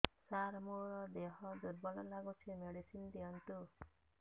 ସାର ମୋର ଦେହ ଦୁର୍ବଳ ଲାଗୁଚି ମେଡିସିନ ଦିଅନ୍ତୁ